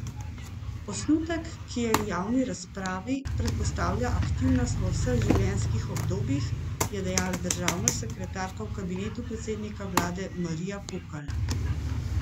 Osnutek, ki je v javni razpravi, predpostavlja aktivnost v vseh življenjskih obdobjih, je dejala državna sekretarka v kabinetu predsednika vlade Marija Pukl.